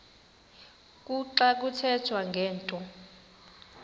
kuxa kuthethwa ngento